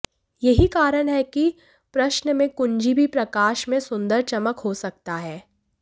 यही कारण है कि प्रश्न में कुंजी भी प्रकाश में सुंदर चमक हो सकता है